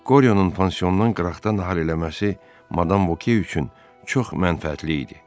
Qoryonun pansiondan qıraqda nahar eləməsi madam Voke üçün çox mənfəətli idi.